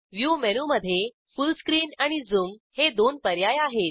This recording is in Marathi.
व्ह्यू मेनूमधे फुल स्क्रीन आणि झूम हे दोन पर्याय आहेत